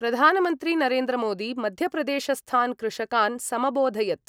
प्रधानमन्त्री नरेन्द्रमोदी मध्यप्रदेशस्थान् कृषकान् समबोधयत्।